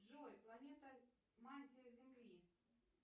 джой планета мантии земли